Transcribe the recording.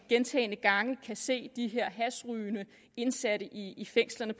gentagne gange kan se de her hashrygende indsatte i fængslerne